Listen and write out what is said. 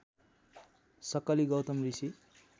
सक्कली गौतम ऋषि